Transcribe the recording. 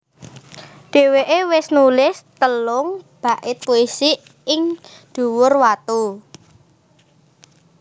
Dheweké wis nulis telung bait puisi ing dhuwur watu